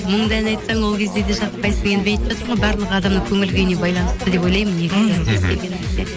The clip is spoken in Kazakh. мұңды ән айтсаң ол кезде де жақпайсың енді айтып жатырмын ғой барлық адамның көңіл күйіне байланысты деп ойлаймын негізі мхм кез келген нәрсе